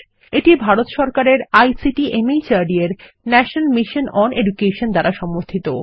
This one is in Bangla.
এটি ভারত সরকারের আইসিটি মাহর্দ এর ন্যাশনাল মিশন ওন এডুকেশন দ্বারা সমর্থিত